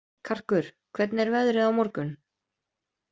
Karkur, hvernig er veðrið á morgun?